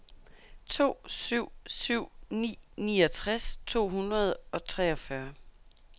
to syv syv ni niogtres to hundrede og treogfyrre